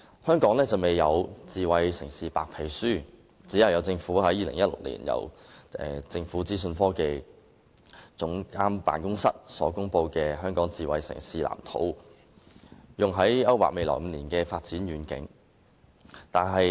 香港現時還沒有公布"智慧城市白皮書"，政府僅於2016年由政府資訊科技總監辦公室公布《香港智慧城市藍圖》，勾劃未來5年的發展遠景。